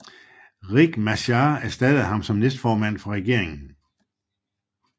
Riek Machar erstattede ham som næstformand for regeringen